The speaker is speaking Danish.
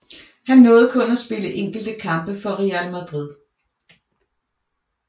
Han nåede kun at spille enkelte kampe for Real Madrid